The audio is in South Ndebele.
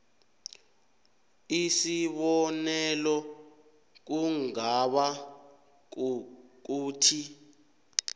isibonelo kungaba kukuthi